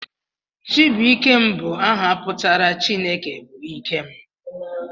Chibuikem bụ áhà pụtara 'Chineke bụ ike m'